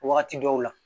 Wagati dɔw la